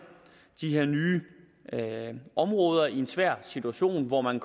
de her nye områder i en svær situation hvor man